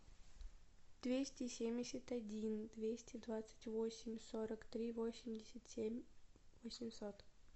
двести семьдесят один двести двадцать восемь сорок три восемьдесят семь восемьсот